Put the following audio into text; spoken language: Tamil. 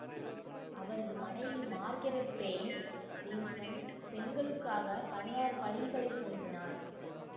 அவரது மனைவி மார்கெரெட் பேய்ன் வில்சன் பெண்களுக்காக பதினாறு பள்ளிகளைத் துவங்கினார்